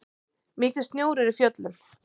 Mikill snjór er í fjöllum.